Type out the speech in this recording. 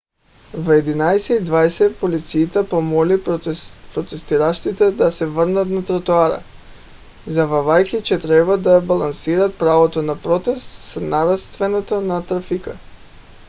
в 11: 20 полицията помоли протестиращите да се върнат на тротоара заявявайки че трябва да балансират правото на протест с нарастването на трафика